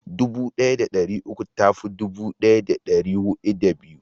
dubu daya da dari hudu da uku ta fi dubu daya da dari hudu da biyu